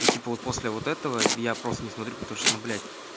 ну типа вот после вот этого я просто не смотрю потому что ну блядь